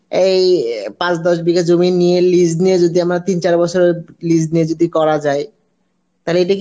এই এ পাঁচ দস বিঘা জমি নিয়ে lease নিয়ে যদি আমরা তিন চার বছর lease নিয়ে যদি করা যায় তাহলে এইটা কি